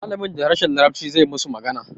Malamin da harshen larabci zai musu magana